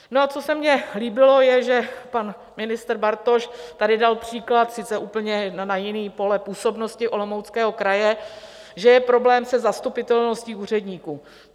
No a co se mně líbilo, je, že pan ministr Bartoš tady dal příklad - sice úplně na jiné pole působnosti, Olomouckého kraje - že je problém se zastupitelností úředníků.